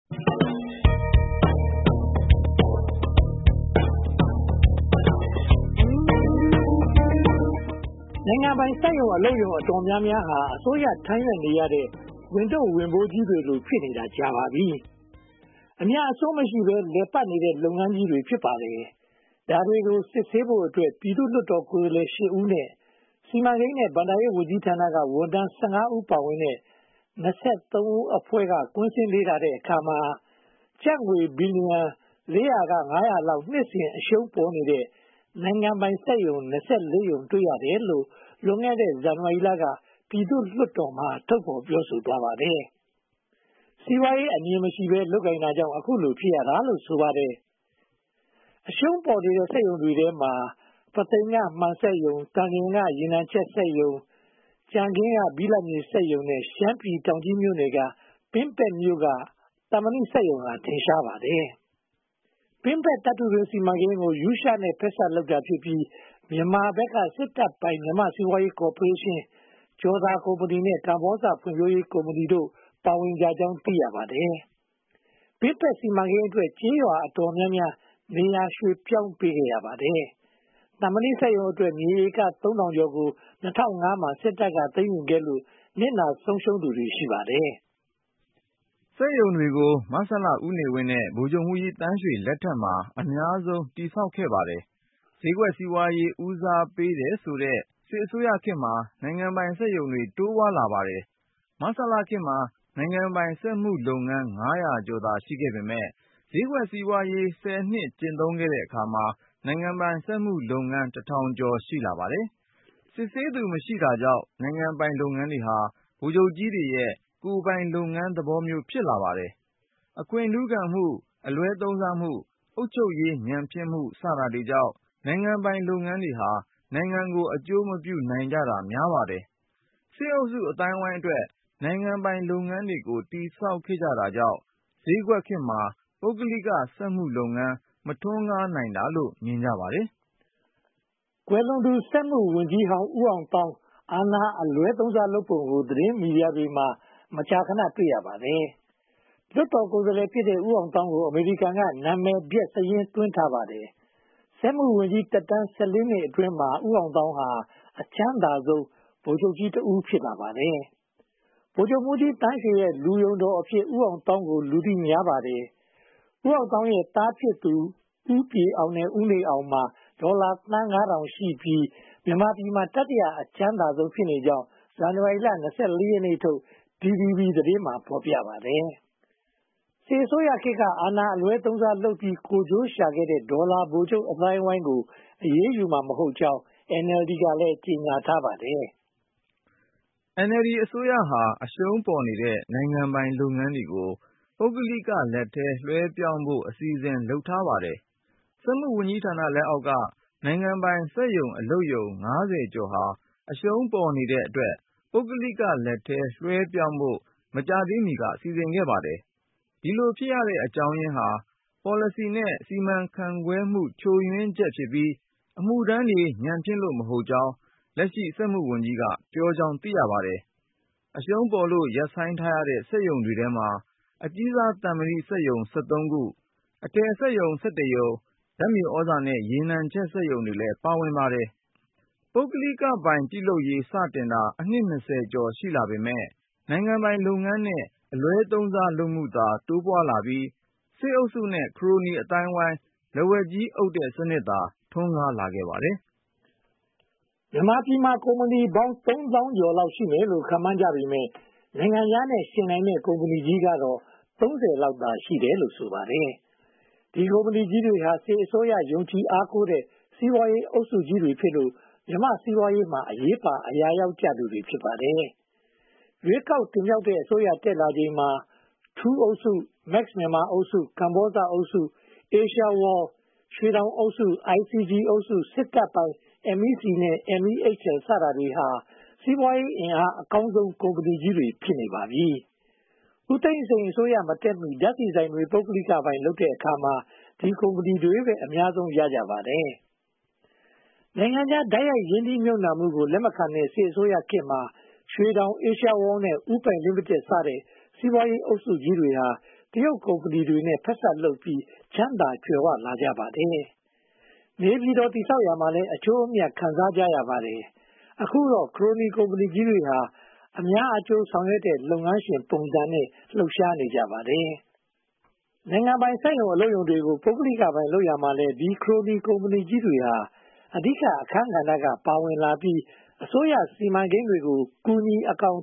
နိုင်ငံပိုင် စက်ရုံအလုပ်ရုံ တော်တော်များများဟာ အစိုးရထမ်းရွက်နေရတဲ့ ဝန်ထုပ်ဝန်ပိုးကြီးတွေလို ဖြစ်နေတာ ကြာပါပြီ။ အမြတ်အစွန်းမရှိဘဲ လည်ပတ်နေတဲ့ လုပ်ငန်းများ ဖြစ်ပါတယ်။ ဒါတွေကို စစ်ဆေးဖို့အတွက် ပြည်သူ့လွှတ်တော်ကိုယ်စားလှယ် (၈) ဦးနဲ့ စီမံကိန်းနဲ့ ဘဏ္ဍာရေးဝန်ကြီးဌာနက ဝန်ထမ်း (၁၅) ဦး ပါဝင်တဲ့ (၂၃) ဦးအဖွဲ့က ကွင်းဆင်းလေ့လာတဲ့အခါမှာ ကျပ်ငွေ ဘီလီယံ (၄၀၀-၅၀၀) လောက် နှစ်စဉ်အရှုံးပေါ်နေတဲ့ နိုင်ငံပိုင်စက်ရုံ (၂၄) ရုံ တွေ့ရတယ်လို့ လွန်ခဲ့တဲ့ ဇန်နဝါရီလက ပြည်သူ့လွှတ်တော်မှာ ထုတ်ဖော်ပြောဆိုသွားပါတယ်။ စီးပွားရေးအမြင်မရှိဘဲ လုပ်ကိုင်တာကြောင့် အခုလို ဖြစ်ရတာလို့ ဆိုပါတယ်။ အရှုံးပေါ်နေတဲ့ စက်ရုံတွေထဲမှာ ပုသိမ်က မှန်စက်ရုံ၊ သန်လျင်ရေနံချက်စက်ရုံ၊ ကြံခင်းက ဘိလပ်မြေစက်ရုံ နဲ့ ရှမ်းပြည်နယ် တောင်ကြီးမြို့နယ် ပင်းပက်မြို့က သံမဏိစက်ရုံတွေဟာ ထင်ရှားပါတယ်။ ပင်းပက်သတ္တုတွင်းစီမံကိန်းကို ရုရှားနဲ့ ဖက်စပ်လုပ်တာဖြစ်ပြီး၊ မြန်မာဘက်က စစ်တပ်ပိုင် မြန်မာ့စီးပွားရေးကော်ပိုးရေးရှင်း၊ ကျော်သာကုမ္ပဏီနဲ့ ကမ္ဘောဇဖွံ့ဖြိုးရေးကုမ္ပဏီတို့ ပါဝင်ကြကြောင်း သိရပါတယ်။ ပင်းပက်စီမံကိန်းအတွက် ကျေးရွာအတော်များများ နေရာရွှေ့ပြောင်းပေးခဲ့ရပါတယ်။ သံမဏီစက်ရုံအတွက် မြေဧက (၃၀၀၀) ကျော်ကို ၂၀၀၅ မှာ စစ်တပ်က သိမ်းယူခဲ့လို့ နစ်နာဆုံးရှုံးသူတွေ ရှိပါတယ်။ စက်ရုံတွေကို မဆလ ဦးနေဝင်းနဲ့ ဗိုလ်ချုပ်မှူးကြီးသန်းရွှေလက်ထက်မှာ အများဆုံး တည်ဆောက်ခဲ့ပါတယ်။ ဈေးကွက်စီးပွားရေး ဦးစားပေးတယ်ဆိုတဲ့ စစ်အစိုးရခေတ်မှာ နိုင်ငံပိုင်စက်ရုံတွေ တိုးပွားလာပါတယ်။ မဆလခေတ်မှာ နိုင်ငံပိုင်စက်မှုလုပ်ငန်း တထောင်ကျော် ရှိလာပါတယ်။ စစ်ဆေးသူမရှိတာကြောင့် နိုင်ငံပိုင်လုပ်ငန်းတွေဟာ ဗိုလ်ချုပ်ကြီးတွေရဲ့ ကိုယ်ပိုင်လုပ်ငန်းသဘောမျိုး ဖြစ်လာပါတယ်။ အခွင့်ထူးခံမှု၊ အလွဲသုံးစားလုပ်မှု၊ အုပ်ချုပ်ရေးညံ့ဖျင်းမှု စတာတွေကြောင့် နိုင်ငံပိုင်လုပ်ငန်းတွေဟာ နိုင်ငံကို အကျိုးမပြုနိုင်ကြတာ များပါတယ်။ စစ်အုပ်စုအသိုင်းအဝိုင်းအတွက် နိုင်ငံပိုင်လုပ်ငန်းတွေကို တည်ဆောက်ခဲ့တာကြောင့် ဈေးကွက်ခေတ်မှာ ပုဂ္ဂလိကစက်မှုလုပ်ငန်း မထွန်းကားနိုင်တာလို့ မြင်ကြပါတယ်။ ကွယ်လွန်သူစက်မှုဝန်ကြီးဟောင်း ဦးအောင်သောင်း အာဏာအလွဲသုံးစားလုပ်ပုံကို သတင်းမီဒီယာတွေမှာ မကြာခဏ တွေ့ရပါတယ်။ လွှတ်တော်ကိုယ်စားလှယ်ဖြစ်တဲ့ ဦးအောင်သောင်းကို အမေရိကန်က နာမည်ပျက်စာရင်းသွင်းပါတယ်။ စက်မှုဝန်ကြီး သက်တမ်း (၁၄) နှစ်အတွင်းမှာ ဦးအောင်သောင်းဟာ အချမ်းသာဆုံး ဗိုလ်ချုပ်ကြီးတဦး ဖြစ်လာပါတယ်။ ဗိုလ်ချုပ်မှုးကြီးသန်းရွှေရဲ့ လူယုံတော်အဖြစ် ဦးအောင်သောင်းကို လူသိများပါတယ်။ ဦးအောင်သောင်းရဲ့ သားဖြစ်သူ ဦးပြည်အောင် နဲ့ ဦးနေအောင်တို့မှာ ဒေါ်လာသန်းငါးထောင်ရှိပြီး မြန်မာပြည်မှာ တတိယအချမ်းသာဆုံးဖြစ်ကြောင်း ဇန်နဝါရီလ (၂၄) ရက်နေ့ထုတ် DVB သတင်းမှာ ဖော်ပြခဲ့ပါတယ်။ စစ်အစိုးရခေတ်က အာဏာအလွဲသုံးစားလုပ်ပြီး ကိုယ်ကျိုးရှာခဲ့တဲ့ ဒေါ်လာဗိုလ်ချုပ်အသိုင်းအဝိုင်းကို အရေးယူမှာ မဟုတ်ကြောင်း NLD က ကြေညာထားပါတယ်။ NLD အစိုးရဟာ အရှုံးပေါ်နေတဲ့ နိုင်ငံပိုင်လုပ်ငန်းတွေကို ပုဂ္ဂလိကလက်ထဲ လွှဲပြောင်းပေးဖို့ အစီအစဉ် လုပ်ထားပါတယ်။ စက်မှုဝန်ကြီးဌာနလက်အောက်က နိုင်ငံပိုင် စက်ရုံအလုပ်ရုံ (၅၀) ကျော်ဟာ အရှုံးပေါ်နေတဲ့အတွက် ပုဂ္ဂလိကလက်ထဲ လွှဲပြောင်းဖို့ မကြာမီက စီစဉ်ခဲ့ပါတယ်။ ဒီလိုဖြစ်ရတဲ့အကြောင်းရင်းဟာ ပေါ်လစီနဲ့ စီမံခန့်ခွဲမှု ချိုးယွင်းချက်ကြောင့်ဖြစ်ပြီး ဝန်ထမ်းတွေ ညံ့ဖျင်းလို့ မဟုတ်ကြောင်း လက်ရှိ စက်မှုဝန်ကြီးက ပြောကြောင်းသိရပါတယ်။ အရှုံးပေါ်လို့ ရပ်ဆိုင်းထားရတဲ့ စက်ရုံတွေထဲမှာ အကြီးစားသံမဏီစက်ရုံ (၁၃) ခု၊ အထည်စက်ရုံ (၁၁) ခု၊ ဓါတ်မြေသြဇာနဲ့ ရေနံချက်စက်ရုံတွေလည်း ပါဝင်ပါတယ်။ ပုဂ္ဂလိကပိုင် ပြုလုပ်ရေး စတင်ကာ အနှစ် (၂၀) ကျော် ရှိလာပေမယ့် နိုင်ငံပိုင်လုပ်ငန်းနဲ့ အလွဲသုံးစားလုပ်မှုသာ တိုးပွားလာပြီး စစ်အုပ်စုနဲ့ ခရိုနီအသိုင်းအဝိုင်း လက်ဝါးကြီးအုပ်တဲ့ စနစ်သာ ထွန်းကားလာခဲ့ပါတယ်။ မြန်မာပြည်မှာ ကုမ္ပဏီပေါင်း သုံးထောင်ကျော်လောက် ရှိမယ်လို့ ခန့်မှန်းကြပေမယ့် နိုင်ငံခြားနဲ့ ယှဉ်နိုင်တဲ့ ကုမ္ပဏီကြီးတွေကတော့ (၃၀) လောက်သာ ရှိတယ်လို့ ဆိုပါတယ်။ ဒီကုမ္ပဏီကြီးတွေဟာ စစ်အစိုးရ ယုံကြည်အားကိုးရတဲ့ စီးပွားရေးအုပ်စုကြီးတွေဖြစ်လို့ မြန်မာ့စီးပွားရေးမှာ အရေးပါအရာရောက်ကြသူတွေ ဖြစ်ပါတယ်။ ရွေးကောက်တင်မြှောက်တဲ့ အစိုးရ တက်လာချိန်မှာ ထူးအုပ်စု၊ Max မြန်မာအုပ်စု၊ ကမ္ဘောဇအုပ်စု၊ Asia World, ရွှေတောင်အုပ်စု၊ IGE အုပ်စု၊ စစ်တပ်ပိုင် MEC နဲ့ MEHL စတဲ့ အုပ်စုတွေဟာ စီးပွားရေး အင်အားအကောင်းဆုံး ကုမ္ပဏီကြီးတွေ ဖြစ်နေပါပြီ။ ဦးသိန်းစိန်အစိုးရ မတက်မီ ဓါတ်ဆီဆိုင်တွေကို ပုဂ္ဂလိကပိုင် လုပ်တဲ့အခါမှာ ဒီကုမ္ပဏီကြီးတွေပဲ အများဆုံး ရရှိကြပါတယ်။ နိုင်ငံခြားတိုက်ရိုက် ရင်းနှီးမြုပ်နံှမှုကို လက်မခံတဲ့ စစ်အစိုးရခေတ်မှာ ရွှေတောင်၊ Asia World နဲ့ ဦးပိုင်လီမိတက်စတဲ့ စီးပွားရေးအုပ်စုကြီးတွေဟာ တရုတ်ကုမ္ပဏီတွေနဲ့ ဖက်ဆက်လုပ်ပြီး ချမ်းသာကြွယ်ဝလာကြပါတယ်။ နေပြည်တော် တည်ဆောက်ရာမှာလည်း အကျိုးအမြတ် ခံစားကြရပါတယ်။ အခုတော့ ခရိုနီကုမ္ပဏီကြီးတွေဟာ အများအကျိုးဆောင်ရွက်တဲ့ လုပ်ငန်းရှင်ပုံစံနဲ့ လှုပ်ရှားနေကြပါတယ်။ နိုင်ငံပိုင် စက်ရုံ၊ အလုပ်ရုံတွေကို ပုဂ္ဂလိကပိုင် လုပ်ရာမှာလည်း ဒီ ခရိုနီကုမ္ပဏီကြီးတွေဟာ အဓိကအခန်းကဏ္ဍကနေ ပါဝင်လာပြီး အစိုးရစီမံကိန်းတွေကို ကူညီအကောင်